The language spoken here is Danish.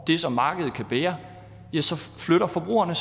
det som markedet kan bære så flytter forbrugerne